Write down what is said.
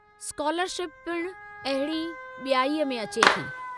Scholarship पिणु अहिड़ी बि॒याईअ में अचे थी।